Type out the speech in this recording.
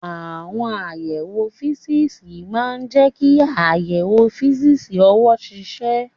Àwọn àyẹ̀wò físíìsì máa ń jẹ́ kí àyẹ̀wò físíìsì ọwọ́ ṣiṣẹ́.